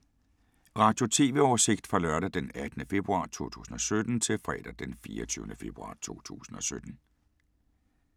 Radio/TV oversigt fra lørdag d. 18. februar 2017 til fredag d. 24. februar 2017